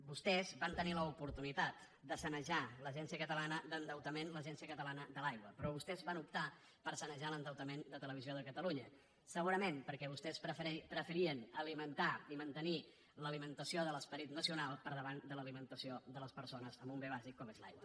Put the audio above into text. vostès van tenir l’oportunitat de sanejar l’agència catalana d’endeutament l’agència catalana de l’aigua però vostès van optar per sanejar l’endeutament de televisió de catalunya segurament perquè vostès preferien alimentar i mantenir l’alimentació de l’esperit nacional per davant de l’alimentació de les persones amb un bé bàsic com és l’aigua